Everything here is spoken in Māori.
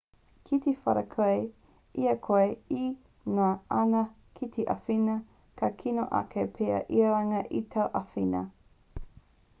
ki te whara koe i a koe e ngana ana ki te āwhina ka kino ake pea i runga i tāu āwhina